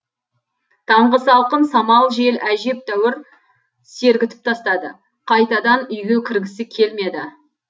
таңғы салқын самал жел әжептәуір сергітіп тастады қайтадан үйге кіргісі келмеді